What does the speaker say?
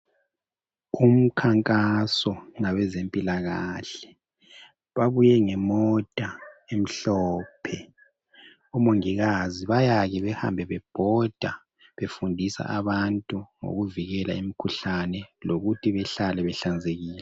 Umkhankaso owabezempilakahle babuye ngemota emhlophe omongikazi bayake behambe bebhoda befundisa abantu ngokuvikela umkhuhlane lokuthi bahlale behlanzekile.